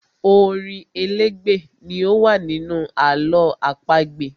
Orin elégbè ni ó má ń wà nínú àlọ́ àpagbè.